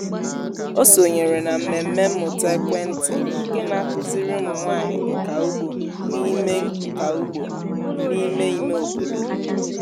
ọ sonyere na mmemme mmụta ekwentị nke na-akụziri ụmụ nwanyị nka ugbo n’ime nka ugbo n’ime ime obodo